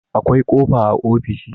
akwai kofa a ofishi